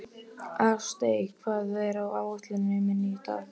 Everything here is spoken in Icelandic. Ástey, hvað er á áætluninni minni í dag?